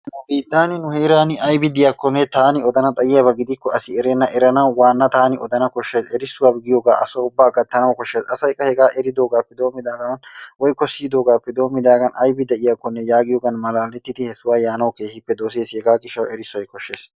Nu biittan nu heeran aybi de'iykkone taani odan xayiyaaba gidikko asi erenna, eranawu waana taani oddanaw koshshays erissuwa giyooga asa ubba gattanawu koshshay asay qa hegaa eridoogappe doommidaagan woykko siyyidoogappe doommidaagan aybbi de'iyaakko yaagiyoogan malaatettidi he sohuwa yaanawu keehippe dosseess. Hegaa gishshawu erissoy koshshees.